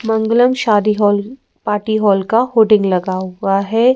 मंगलम शादी hall party hall का hoarding लगा हुआ है।